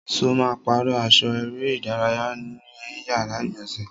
Ṣo ma pàrọ́ aṣọ eré ìdárayá ẹ ní yàrá ìgbọ̀nsẹ̀?